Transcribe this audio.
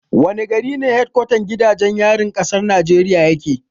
Wani gari ne hedkwatan gidajen yarin kasar Najeriya yake?